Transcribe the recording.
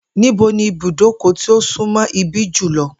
Níbo ni ibùdókò̩ tí ó súnmó̩ ibí yìí jù lo̩?